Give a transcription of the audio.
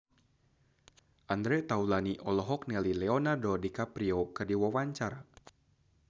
Andre Taulany olohok ningali Leonardo DiCaprio keur diwawancara